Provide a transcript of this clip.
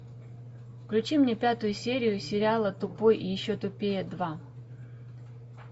включи мне пятую серию сериала тупой и еще тупее два